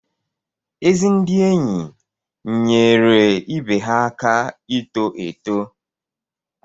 Ezi ndị enyi nyeere ibe ha aka ito eto.